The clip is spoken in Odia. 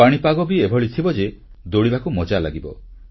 ପାଣିପାଗ ବି ଏଭଳି ଥିବ ଯେ ଦୌଡ଼ିବାକୁ ମଜା ଲାଗିବ